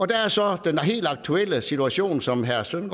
der er så den helt aktuelle situation som herre søren